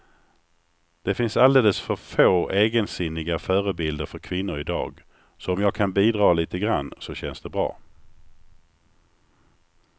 Det finns alldeles för få egensinniga förebilder för kvinnor i dag, så om jag kan bidra lite grann så känns det bra.